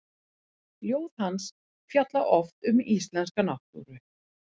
Ljóð hans fjalla oft um íslenska náttúru.